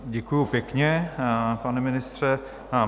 Děkuji pěkně, pane ministře.